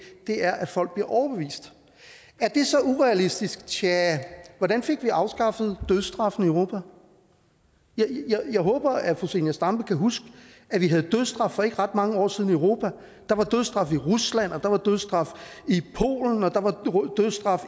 er at folk bliver overbevist er det så urealistisk tja hvordan fik vi afskaffet dødsstraffen i europa jeg håber at fru zenia stampe kan huske at vi havde dødsstraf for ikke ret mange år siden i europa der var dødsstraf i rusland og der var dødsstraf i polen og der var dødsstraf